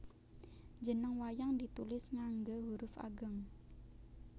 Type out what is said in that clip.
Jeneng wayang ditulis ngangge huruf ageng